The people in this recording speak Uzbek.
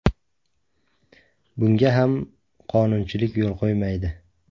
Bunga ham qonunchilik yo‘l qo‘ymaydi.